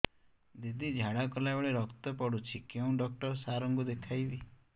ଦିଦି ଝାଡ଼ା କଲା ବେଳେ ରକ୍ତ ପଡୁଛି କଉଁ ଡକ୍ଟର ସାର କୁ ଦଖାଇବି